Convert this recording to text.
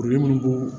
ko